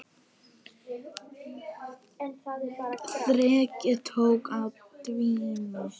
Þrekið tók að dvína.